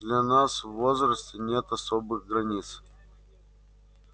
для нас в возрасте нет особых границ